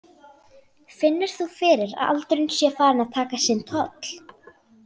Finnur þú fyrir að aldurinn sé farinn að taka sinn toll?